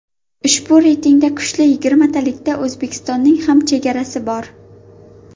Ushbu reytingda kuchli yigirmatalikda O‘zbekistonning ham chegarasi bor.